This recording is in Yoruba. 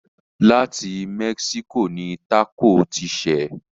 Láti Mexico ni tákò ti ṣẹ̀.